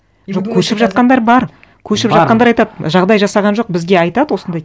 жоқ көшіп жатқандар бар көшіп жатқандар айтады жағдай жасаған жоқ бізге айтады осындай